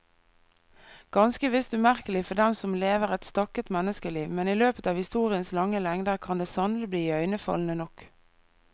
Ganske visst umerkelig for den som lever et stakket menneskeliv, men i løpet av historiens lange lengder kan det sannelig bli iøynefallende nok.